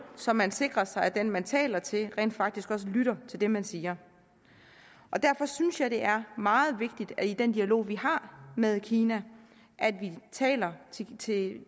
så man sikrer sig at den man taler til rent faktisk også lytter til det man siger og derfor synes jeg det er meget vigtigt at vi i den dialog vi har med kina taler til til